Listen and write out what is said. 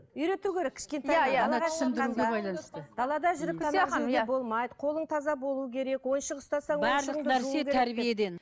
үйрету керек қолың таза болу керек